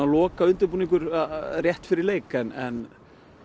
lokaundirbúningur rétt fyrir leik en